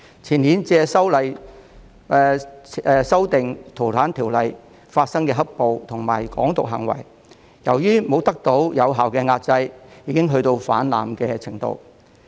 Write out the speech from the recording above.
前年由修訂《逃犯條例》引致的"黑暴"和"港獨"行為，由於沒有得到有效的壓制，已經達到泛濫的程度。